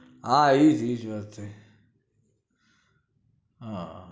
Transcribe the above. હા ઇજ ઇજ વાત છે હા